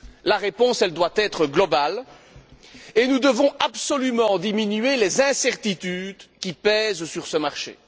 La réponse doit être globale et nous devons absolument diminuer les incertitudes qui pèsent sur ce marché.